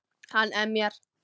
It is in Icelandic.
Hann emjar.